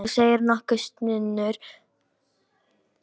Þú segir nokkuð, stynur hann upp eftir nokkra umhugsun.